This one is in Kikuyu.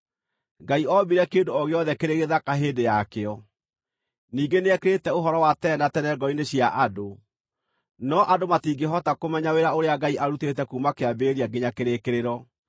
Ngai oombire kĩndũ o gĩothe kĩrĩ gĩthaka hĩndĩ yakĩo. Ningĩ nĩekĩrĩte ũhoro wa tene na tene ngoro-inĩ cia andũ; no andũ matingĩhota kũmenya wĩra ũrĩa Ngai arutĩte kuuma kĩambĩrĩria nginya kĩrĩkĩrĩro.